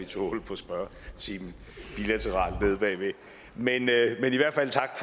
tog hul på spørgetimen men i hvert fald tak